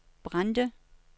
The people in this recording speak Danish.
Brande